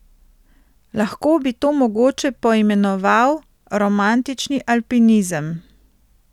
Lahko bi to mogoče poimenoval romantični alpinizem.